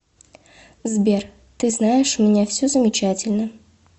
сбер ты знаешь у меня все замечательно